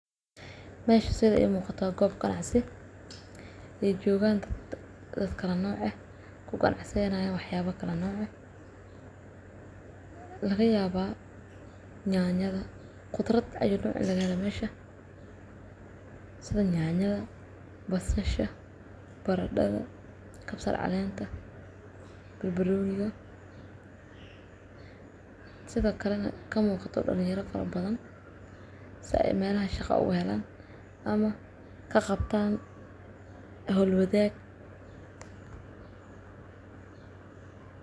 Mesha sida ii muuqata goob qancsi. Riijoowgaan dadka karnooce ku qancsanaa inay wax yaabo karnooce. Lagayaabaa nyaanyada, kutirad cayadu laga lama yeeshee. Sida nyaanyada balsasho, baradhaga, kabsar caleenta, balbaluuyiga. Sida kale ka muuqata dhul yara farab badan sa e meena shaqo u heleen ama ka qabtaan ahn holwadeeg.